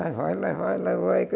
Lá vai, lá vai, lá vai.